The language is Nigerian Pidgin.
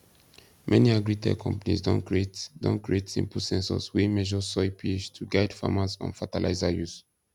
many agritech companies don create don create simple sensors wey measure soil ph to guide farmers on fertilizer use